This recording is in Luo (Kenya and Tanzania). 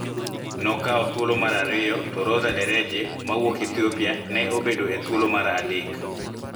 Ne okawo thuolo mar ariyo, to Roza Dereje ma wuok Ethiopia ne obedo e thuolo mar adek.